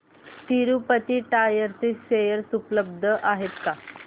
Tirupati tyres चे share उपलब्ध आहेत का